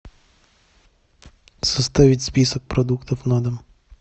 составить список продуктов на дом